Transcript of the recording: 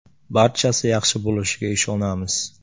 Barchasi yaxshi bo‘lishiga ishonamiz.